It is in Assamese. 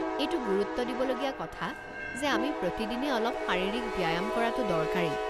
এইটো গুৰুত্ব দিবলগীয়া কথা যে আমি প্ৰতিদিনে অলপ শাৰীৰিক ব্যায়াম কৰাটো দৰকাৰী।